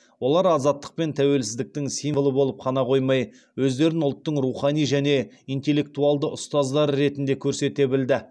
олар азаттық пен тәуелсіздіктің символы болып қана қоймай өздерін ұлттың рухани және интеллектуалды ұстаздары ретінде көрсете білді